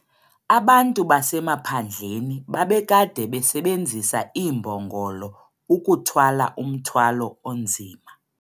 Abantu basemaphandleni babekade besebenzisa iimbongolo ukuthwala umthwalo onzima.